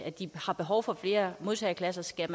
at de har behov for flere modtageklasser skal